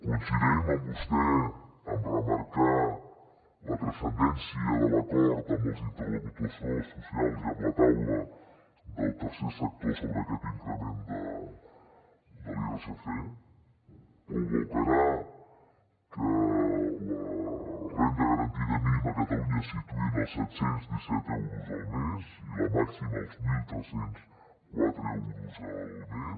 coincidim amb vostè a remarcar la transcendència de l’acord amb els interlocutors socials i amb la taula del tercer sector sobre aquest increment de l’irsc provocarà que la renda garantida mínima a catalunya es situï en els set cents i disset euros al mes i la màxima als tretze zero quatre euros al mes